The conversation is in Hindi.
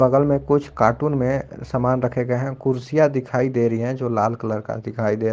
बगल में कुछ कार्टून में सामान रखे गए है कुर्सियां दिखाई दे रही है जो लाल कलर का दिखाई दे--